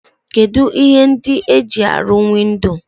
Kedu ihe ndi e ji aru windo?